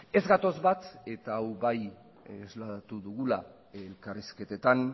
ez gatoz bat eta hau bai isladatu dugula elkarrizketetan